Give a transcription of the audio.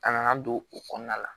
A nana don o kɔnɔna la